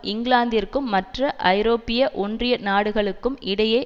இங்கிலாந்திற்கும் மற்ற ஐரோப்பிய ஒன்றிய நாடுகளுக்கும் இடையே